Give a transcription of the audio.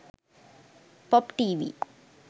pop tv